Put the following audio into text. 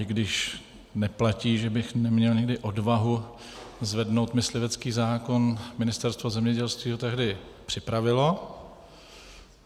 I když neplatí, že bych neměl nikdy odvahu zvednout myslivecký zákon, Ministerstvo zemědělství ho tehdy připravilo.